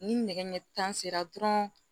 Ni nɛgɛ ɲɛ tan sera dɔrɔn